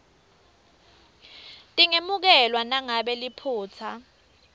tingemukelwa nangabe liphutsa